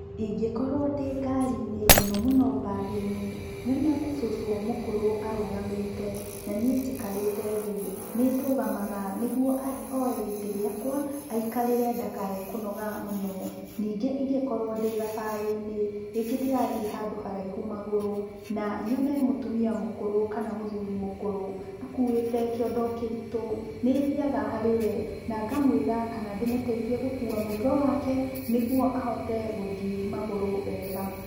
Ingĩkorwo ndĩ ngari-inĩ, mũno mũno mbathi-inĩ, nyone cũcũ mũkũrũ arũgamĩte na niĩ njikarĩte thĩ, nĩndũgamaga nĩguo oe gĩtĩ gĩakwa, aikarĩre ndakae kũnoga mũno. Ningĩ ingĩkorwo ndĩ thabarĩ-inĩ, rĩngĩ ndĩrathiĩ handũ haraihu magũrũ, na nyone mũtumia mũkũrũ kana mũthuri mũkũrũ akuĩte kĩondo kĩritũ, nĩthiaga harĩwe na ngamũĩra kana ndĩmũtaithie gũkua mũrigo wake, nĩguo ahote gũthiĩ magũrũ wega.